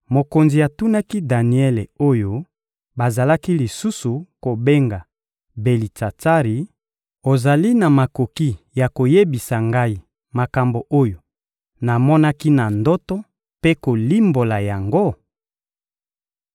Mokonzi atunaki Daniele oyo bazalaki lisusu kobenga Belitsatsari: — Ozali na makoki ya koyebisa ngai makambo oyo namonaki na ndoto mpe kolimbola yango?